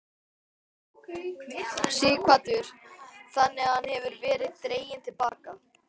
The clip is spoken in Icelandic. Sighvatur: Þannig að hún hefur verið dregin til baka?